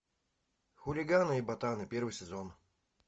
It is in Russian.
хулиганы и ботаны первый сезон